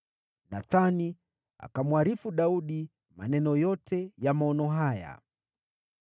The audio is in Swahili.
Nathani akamwarifu Daudi maneno yote ya maono haya.